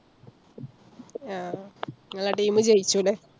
ആഹ് ങ്ങളെ team മ് ജയിച്ചുലെ.